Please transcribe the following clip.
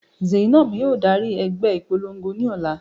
Zainab yóò dari ẹgbẹ ipolongo ni ọla